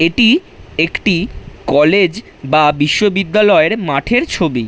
এটি একটি কলেজ বা বিশ্ববিদ্যালয়ের মাঠের ছবি।